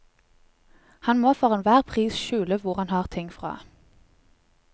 Han må for enhver pris skjule hvor han har ting fra.